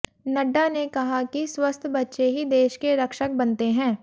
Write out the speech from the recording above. नड्डा ने कहा कि स्वस्थ बच्चे ही देश के रक्षक बनते हैैं